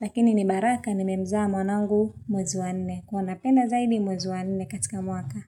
lakini ni baraka ni memza mwanangu mwezi wa nne kuwanapena zaidi mwezoanine katika muaka.